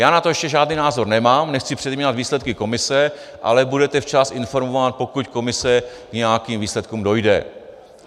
Já na to ještě žádný názor nemám, nechci předjímat výsledky komise, ale budete včas informován, pokud komise k nějakým výsledkům dojde.